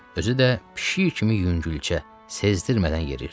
Özü də pişik kimi yüngülcə, sezdirmədən yeriyirdi.